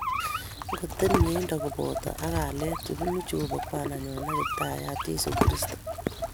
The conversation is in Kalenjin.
Ingoteb mieindo kobotok ak kalyet che bunu Jehova Kwandanyo ak Kiptaiyat Jesu Kristo.